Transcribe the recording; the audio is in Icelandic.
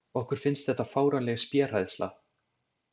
Okkur finnst þetta fáránleg spéhræðsla.